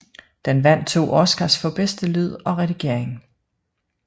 Den vandt 2 Oscars for bedste lyd og redigering